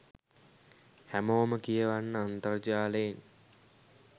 හැමෝම කියවන්න අන්තර්ජාලයෙන්